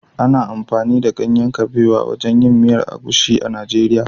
Ana amfani da ganyen kabewa wajen yin miyar egusi a Najeriya